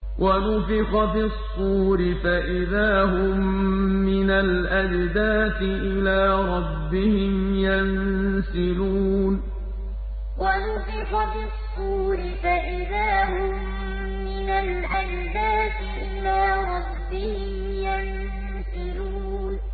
وَنُفِخَ فِي الصُّورِ فَإِذَا هُم مِّنَ الْأَجْدَاثِ إِلَىٰ رَبِّهِمْ يَنسِلُونَ وَنُفِخَ فِي الصُّورِ فَإِذَا هُم مِّنَ الْأَجْدَاثِ إِلَىٰ رَبِّهِمْ يَنسِلُونَ